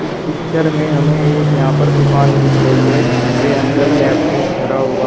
इस पिक्चर में हमें एक यहां पर दुकान दिख रही है जिसके अंदर लैपटॉप धारा हुआ--